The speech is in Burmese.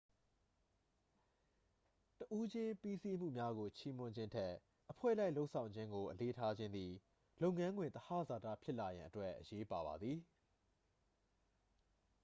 တစ်ဦးချင်းပြီးစီမှုများကို ချီးမွမ်းခြင်းထက် အဖွဲ့လိုက်လုပ်ဆောင်ခြင်းကို အလေးထားခြင်းသည် လုပ်ငန်းခွင်သဟဇာတာဖြစ်လာရန်အတွက် အရေးပါပါသည်